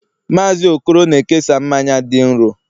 Mazị okoro na-ekesa mmanya dị nro